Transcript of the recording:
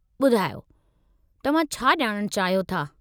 ॿुधायो, तव्हां छा ॼाणणु चाहियो था?